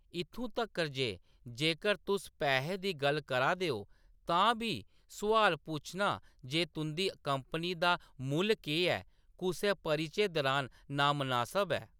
इत्थूं तक्कर जे जेकर तुस पैहे दी गल्ल करा दे ओ, तां बी सुआल पुच्छना जे तुंʼदी कंपनी दा मुल्ल केह्‌‌ ऐ, कुसै परिचे दुरान नामनासब ऐ।